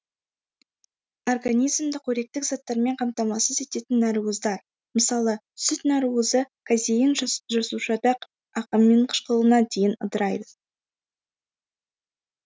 организмді коректік заттармен қамтамасыз ететін нәруыздар мысалы сүт нәруызы казеин жасушада аминқышқылына дейін ыдырайды